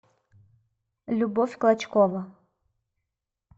любовь клочкова